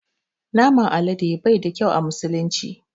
Naman alade bai da ƙyau a musulunci.